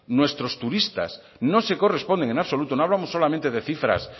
nuestros turistas no se corresponden en absoluto no hablamos solamente de cifras